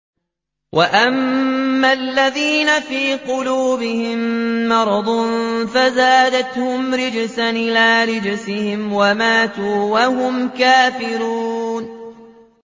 وَأَمَّا الَّذِينَ فِي قُلُوبِهِم مَّرَضٌ فَزَادَتْهُمْ رِجْسًا إِلَىٰ رِجْسِهِمْ وَمَاتُوا وَهُمْ كَافِرُونَ